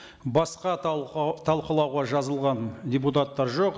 басқа талқылауға жазылған депутаттар жоқ